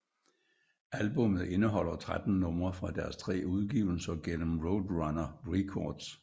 Albummet indeholder 13 numre fra deres tre udgivelser gennem Roadrunner Records